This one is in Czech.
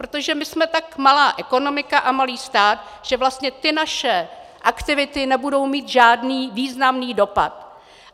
Protože my jsme tak malá ekonomika a malý stát, že vlastně ty naše aktivity nebudou mít žádný významný dopad.